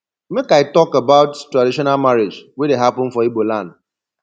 make i tok about traditional marriage wey dey hapun for igboland